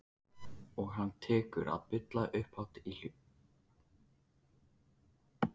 Og hann tekur að bulla upphátt og í hljóði.